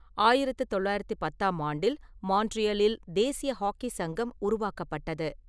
ஆயிரத்து தொள்ளாயிரத்து பத்தாம் ஆண்டில், மான்ட்ரீலில் தேசிய ஹாக்கி சங்கம் உருவாக்கப்பட்டது.